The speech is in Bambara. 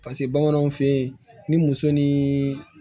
Paseke bamananw fɛ yen ni muso ni